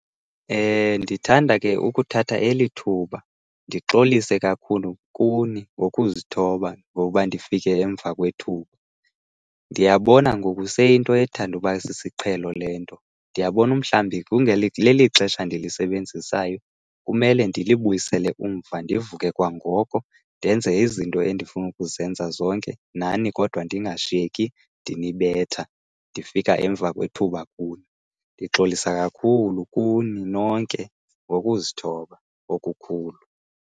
Ndithanda ke ukuthatha eli thuba ndixolise kakhulu kuni ngokuzithoba ngokuba ndifike emva kwethuba. Ndiyabona ngoku seyiyinto ethanda uba sisiqhelo le nto. Ndiyabona umhlawumbi leli lixesha ndilisebenzisayo, kumele ndilibuyisele umva ndivuke kwangoko, ndenze izinto endifuna ukuzenza zonke nani kodwa ndingashiyeki ndinibetha ndifika emva kwethuba kuni. Ndixolisa kakhulu kuni nonke ngokuzithoba okukhulu.